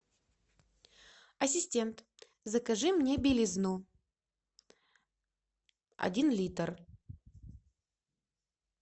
ассистент закажи мне белизну один литр